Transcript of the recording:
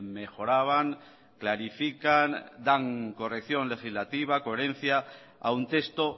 mejoraban clarifican dan corrección legislativa coherencia a un texto